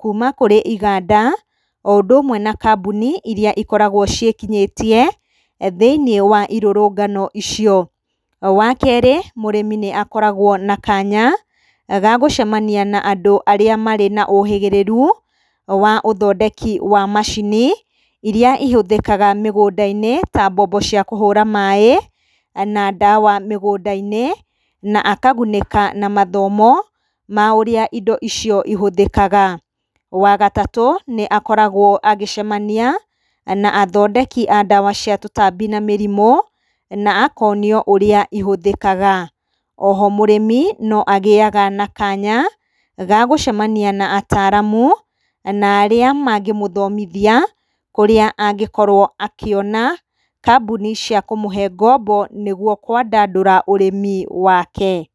kuma kũrĩ iganda, o ũndũ ũmwe na kambuni iria cikoragwo ciĩkinyĩtie thĩiniĩ wa irũrũngano icio. Wa kerĩ, mũrĩmi nĩ akoragwo na kanya ga gũcemania na andũ arĩa marĩ naũhĩgĩrĩru wa ũthondeki wa macini iria ihũthĩkaga mĩgũnda-inĩ ta mbombo cia kũhũra maĩ na ndawa mĩgũnda-inĩ na akagunĩka na mathomo ma ũrĩa indo icio ihũthĩkaga. Wa gatatũ, nĩ akoragwo agĩcemania na athondeki a ndawa cia tũtambi na mĩrimũ na akonio ũrĩa ihũthĩkaga. Oho mũrĩmi, no agĩaga na kanya ga gũcemania na ataramu na arĩa mangĩmũthomithia kũrĩa angĩkorwo akĩona kambuni cia kũmũhe ngombo nĩguo kwandandũra ũrĩmi wake.